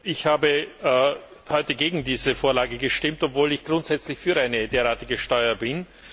Ich habe heute gegen diese Vorlage gestimmt, obwohl ich grundsätzlich für eine derartige Steuer bin.